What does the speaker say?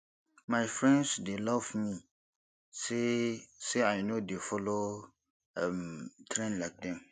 my friends dey laugh me say say i no dey follow um trend like dem